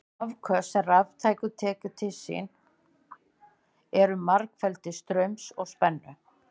Afköst sem raftæki tekur til sín eru margfeldi straums og spennu.